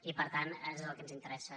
i per tant és el que ens interessa